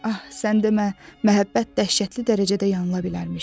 Ah, sən demə, məhəbbət dəhşətli dərəcədə yanıla bilərmiş.